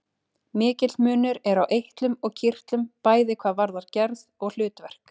Mikill munur er á eitlum og kirtlum, bæði hvað varðar gerð og hlutverk.